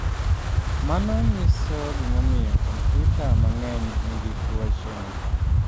Mano nyiso gimomiyo kompyuta mang’eny nigi tuoche.